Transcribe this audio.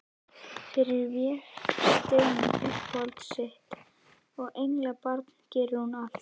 Fyrir Véstein, uppáhald sitt og englabarn, gerir hún allt.